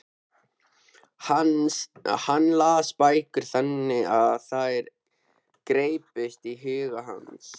Hann las bækur þannig að þær greyptust í huga hans.